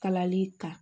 Kalali kan